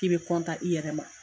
K'i bɛ i yɛrɛ ma.